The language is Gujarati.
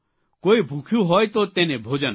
કોઇ ભૂખ્યું હોય તો તેને ભોજન આપો